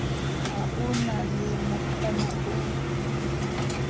ha o le mokana o